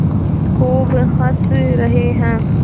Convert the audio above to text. खूब हँस रहे हैं